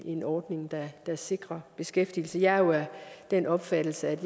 en ordning der sikrer beskæftigelse jeg er jo af den opfattelse at